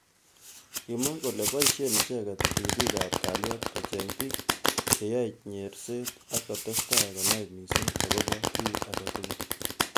Kimwa kole boishe icheket ribik ab kalyet kocheng bik cheyoei nyerset ak kotestai konai missing akobo ki age tugul.